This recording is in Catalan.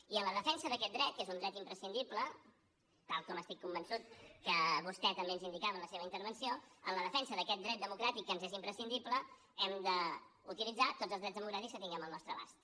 i en la defensa d’aquest dret que és un dret imprescindible tal com estic convençut que vostè també ens ho indicava en la seva intervenció en la defensa d’aquest dret democràtic que ens és imprescindible hem d’utilitzar tots els drets democràtics que tinguem al nostre abast